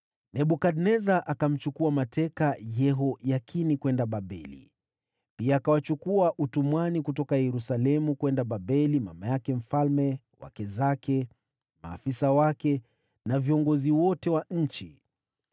Nebukadneza akamchukua mateka Yehoyakini hadi Babeli. Pia akawachukua utumwani kutoka Yerusalemu hadi Babeli mama yake mfalme, wake zake, maafisa wake, na viongozi wote wa nchi.